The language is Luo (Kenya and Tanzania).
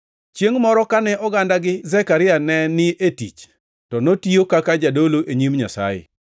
Chiengʼ moro kane ogandagi gi Zekaria ne ni e tich to notiyo kaka jadolo e nyim Nyasaye,